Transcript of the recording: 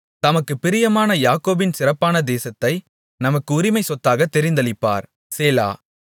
தமக்குப் பிரியமான யாக்கோபின் சிறப்பான தேசத்தை நமக்குச் உரிமைச்சொத்தாக தெரிந்தளிப்பார் சேலா